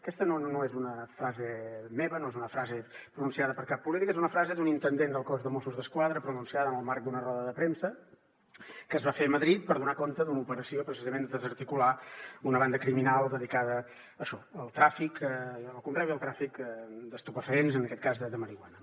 aquesta no és una frase meva no és una frase pronunciada per cap polític és una frase d’un intendent del cos de mossos d’esquadra pronunciada en el marc d’una roda de premsa que es va fer a madrid per donar compte d’una operació precisament per desarticular una banda criminal dedicada a això al tràfic al conreu i al tràfic d’estupefaents en aquest cas de marihuana